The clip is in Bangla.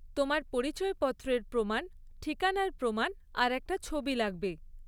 তোমার পরিচয়পত্রের প্রমাণ, ঠিকানার প্রমাণ আর একটা ছবি লাগবে।